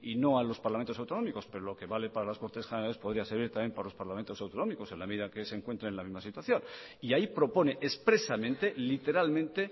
no a los parlamentos autonómicos pero lo que vale para las cortes generales podría servir también para los parlamentos autonómicos en la medida que se encuentre en la misma situación y ahí propone expresamente literalmente